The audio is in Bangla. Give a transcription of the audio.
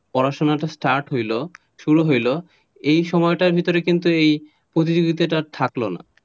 পড়াশুনা start হল, শুরু হল এই সময়টার ভেতরে কিন্তু এই প্রতিযোগিতাটা আর থাকলো না,